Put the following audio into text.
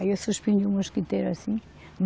Aí eu suspendi o mosquiteiro assim.